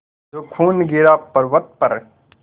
जो खून गिरा पवर्अत पर